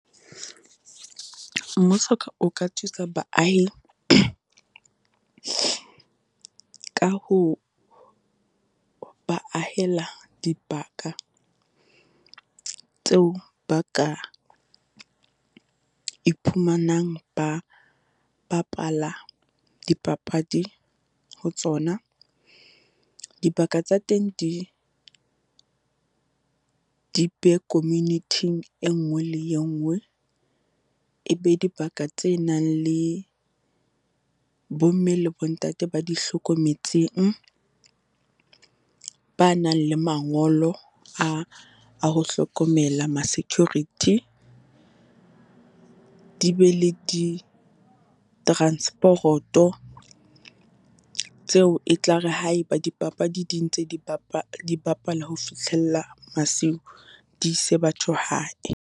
Mmuso o ka thusa baahi, ka ho ba ahela dibaka tseo ba ka iphumanang ba bapala dipapadi ho tsona. Dibaka tsa teng di di be community-ing e nngwe le engwe. E be dibaka tse nang le bomme le bontate ba di hlokometseng, ba nang le mangolo a, a ho hlokomela ma-security. Di be le ditransporoto, tseo e tlare ha e ba dipapadi di ntse di bapa, di bapala ho fihlella masiu, di ise batho hae.